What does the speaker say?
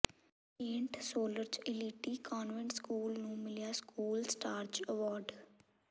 Saint soldier elite convent school ਨੂੰ ਮਿਲਿਆ school stars award